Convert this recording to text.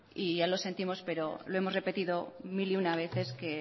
y ya lo sentimos pero lo hemos repetido mil y una veces que